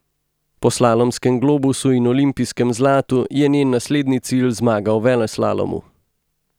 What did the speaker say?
Po slalomskem globusu in olimpijskem zlatu je njen naslednji cilj zmaga v veleslalomu.